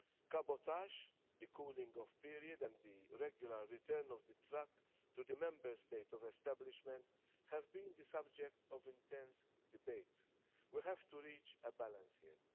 Cabotage, the cooling-off period and the regular return of the truck to the Member State of establishment have been the subject of intense debates. We have to reach a balance